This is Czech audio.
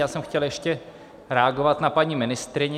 Já jsem chtěl ještě reagovat na paní ministryni.